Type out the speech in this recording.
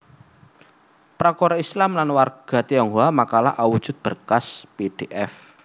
Prakara Islam lan warga Tionghoa makalah awujud berkas pdf